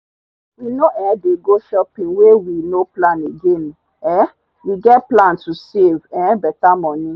we no um dey go shopping wey we no plan again um we get plan to save um better money